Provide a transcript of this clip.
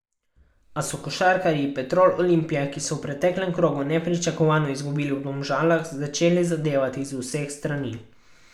A so košarkarji Petrol Olimpije, ki so v preteklem krogu nepričakovano izgubili v Domžalah, začeli zadevati z vseh strani.